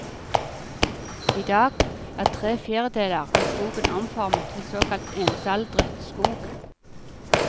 I dag er tre fjerdedeler av skogen omformet til såkalt ensaldret skog.